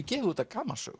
gefið út af